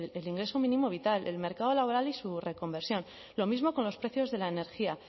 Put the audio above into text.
el ingreso mínimo vital el mercado laboral y su reconversión lo mismo con los precios de la energía